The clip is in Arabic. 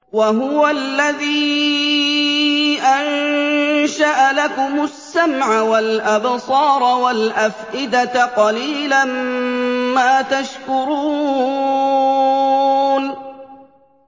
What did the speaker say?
وَهُوَ الَّذِي أَنشَأَ لَكُمُ السَّمْعَ وَالْأَبْصَارَ وَالْأَفْئِدَةَ ۚ قَلِيلًا مَّا تَشْكُرُونَ